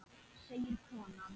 segir konan.